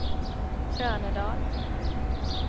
Trönödal